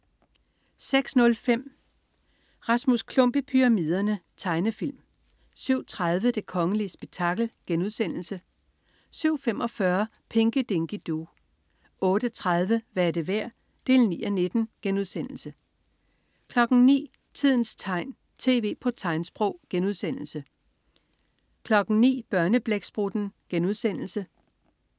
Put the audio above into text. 06.05 Rasmus Klump i pyramiderne. Tegnefilm 07.30 Det kongelige spektakel* 07.45 Pinky Dinky Doo 08.30 Hvad er det værd? 9:19* 09.00 Tidens tegn, tv på tegnsprog* 09.00 Børneblæksprutten*